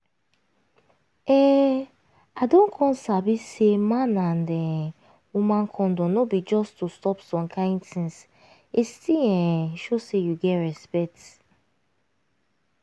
um i don come sabi say man and um woman condom no be just to stop some kain tins e still um show say you get respect